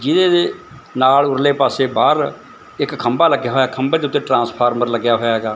ਜਿਹਦੇ ਵੀ ਨਾਲ ਉਰਲੇ ਪਾਸੇ ਬਾਹਰ ਇੱਕ ਖੰਭਾ ਲੱਗਿਆ ਹੈ ਖੰਭਾ ਦੇ ਉੱਤੇ ਟ੍ਰਾਂਸਫਾਰਮਰ ਲੱਗਿਆ ਹੋਇਆ ਹੈਗਾ।